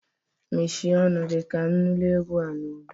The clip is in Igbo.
Mechie ọnụ gi! Ka m nụrụ egwu a n'udo.